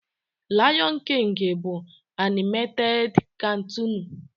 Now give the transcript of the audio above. Laiọn Kịngi bụ anịmeted katụụnu